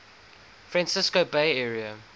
francisco bay area